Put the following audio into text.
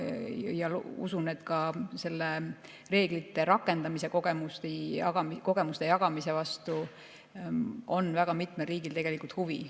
Usun, et ka selle reeglite rakendamise kogemuste jagamise vastu on väga mitmel riigil huvi.